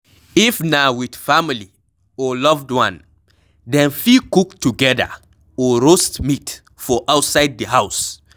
if na with family or loved one, dem fit cook together or roast meat for outside di house